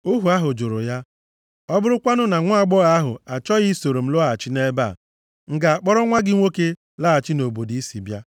Ohu ahụ jụrụ ya, “Ọ bụrụkwanụ na nwaagbọghọ ahụ achọghị isoro m lọghachi nʼebe a, m ga-akpọrọ nwa gị nwoke laghachi nʼobodo i si bịa?”